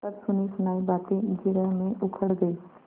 पर सुनीसुनायी बातें जिरह में उखड़ गयीं